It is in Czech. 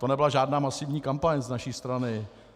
To nebyla žádná masivní kampaň z naší strany.